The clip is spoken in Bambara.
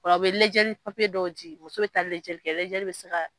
Ola a be lajɛ papiye dɔw di muso be lajɛli kɛ lajɛli be se ka